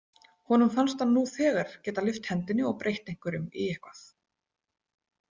Honum fannst hann nú þegar geta lyft hendinni og breytt einhverjum í eitthvað.